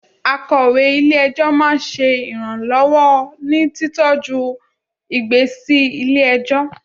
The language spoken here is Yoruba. Akọ̀wé ilé - ẹjọ́ máa ń ṣe iranlọwọ ní títọ ju ìgbésí lè ẹjọ́